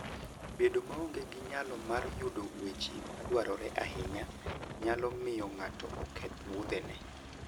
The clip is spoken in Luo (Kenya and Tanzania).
Bedo maonge gi nyalo mar yudo weche madwarore ahinya nyalo miyo ng'ato oketh wuodhene.